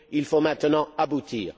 Il faut maintenant aboutir.